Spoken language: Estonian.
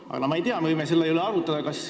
Aga kas me võime selle üle arutada?